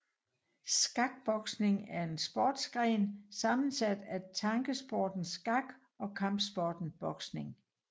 Skakboksning er en sportsgren sammensat af tankesporten skak og kampsporten boksning